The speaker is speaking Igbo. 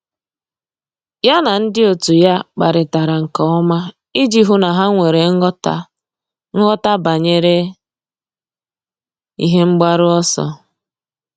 Yá na ndị otu ya kparịtara nke ọma iji hụ́ na há nwere nghọta nghọta banyere ihe mgbaru ọsọ.